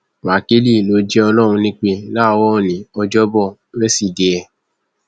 wákìlì ló jẹ ọlọrun nípẹ láàárọ òní ọjọbọ wẹsídẹẹ